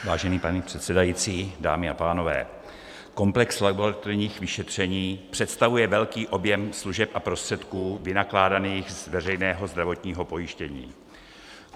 Vážený pane předsedající, dámy a pánové, komplex laboratorních vyšetření představuje velký objem služeb a prostředků vynakládaných z veřejného zdravotního pojištění.